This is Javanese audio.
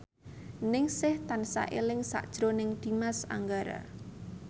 Ningsih tansah eling sakjroning Dimas Anggara